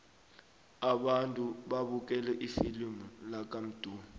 abantwana babukele ifilimu lakamdu